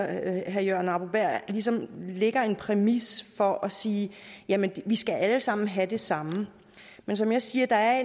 at herre jørgen arbo bæhr ligesom lægger en præmis for at sige jamen vi skal alle sammen have det samme men som jeg siger er